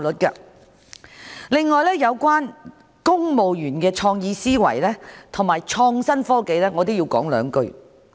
此外，我要就有關公務員的創意思維及創新科技，表達一點意見。